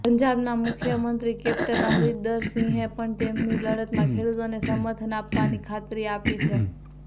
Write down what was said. પંજાબના મુખ્યમંત્રી કેપ્ટન અમરિંદર સિંહે પણ તેમની લડતમાં ખેડુતોને સમર્થન આપવાની ખાતરી આપી છે